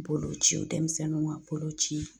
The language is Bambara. Boloci denmisɛnninw ka boloci